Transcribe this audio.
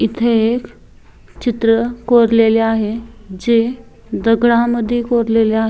इथे एक चित्र कोरलेले आहे जे दगडामद्धे कोरलेले आ --